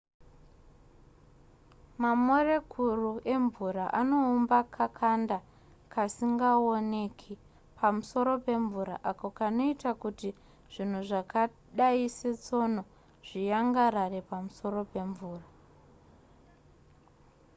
mamorekuru emvura anoumba kakanda kasingaoneki pamusoro pemvura ako kanoita kuti zvinhu zvakadai setsono zviyangarare pamusoro pemvura